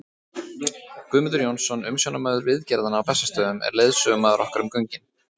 Guðmundur Jónsson, umsjónarmaður viðgerðanna á Bessastöðum, er leiðsögumaður okkar um göngin.